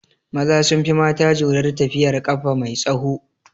Maza sun fi mata jurar tafiyar ƙafa mai tsaho